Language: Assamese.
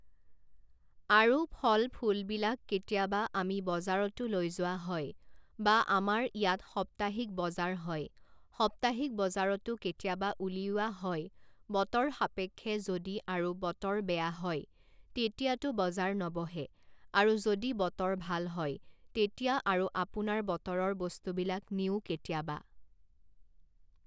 আৰু ফল ফুলবিলাক কেতিয়াবা আমি বজাৰতো লৈ যোৱা হয় বা আমাৰ ইয়াত সপ্তাহিক বজাৰ হয় সপ্তাহিক বজাৰতো কেতিয়াবা উলিওয়া হয় বতৰ সাপেক্ষে যদি আৰু বতৰ বেয়া হয় তেতিয়াতো বজাৰ নবহে আৰু যদি বতৰ ভাল হয় তেতিয়া আৰু আপোনাৰ বতৰৰ বস্তুবিলাক নিও কেতিয়াবা